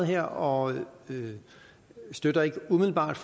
her og vi støtter umiddelbart